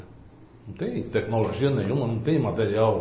Não tem tecnologia nenhuma, não tem material...